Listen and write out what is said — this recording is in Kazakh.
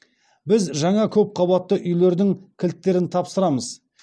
біз жаңа көпқабатты үйлердің кілттерін тапсырамыз